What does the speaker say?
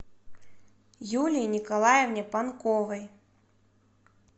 юлии николаевне панковой